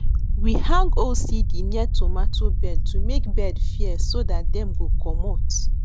we hang old cd near tomato bed to make bird fear so that dem go commot